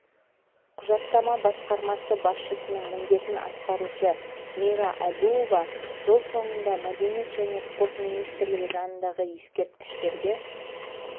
құжаттама басқармасы басшысының міндетін атқарушы мира әбуова жыл соңында мәдениет және спорт министрлігі жанындағы ескерткіштерге